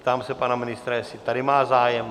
Ptám se pana ministra, jestli tady má zájem?